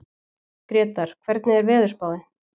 Gretar, hvernig er veðurspáin?